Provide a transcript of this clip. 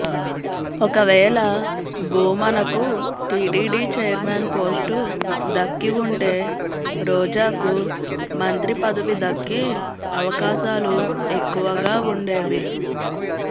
ఒకవేళ భూమనకు TTD chairman post దక్కి ఉంటే రోజాకు మంత్రి పదవి దక్కే అవకాశాలు ఎక్కువగా ఉండేవి